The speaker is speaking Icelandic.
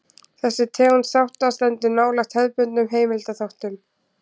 Þessi tegund þátta stendur nálægt hefðbundnum heimildaþáttum.